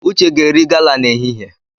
Uche ga-eri gala n'ehihie.